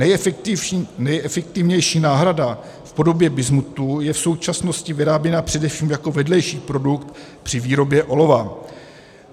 Nejefektivnější náhrada v podobě bismutu je v současnosti vyráběna především jako vedlejší produkt při výrobě olova.